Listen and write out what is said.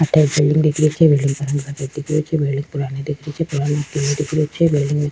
अठे एक बिलडिंग दिख रही छे बिलडिंग का रंग सफ़ेद दिख रही छे बिलडिंग पुरानी दिख रही छे पीछे पेड़ दिख रही छे बिलडिंग --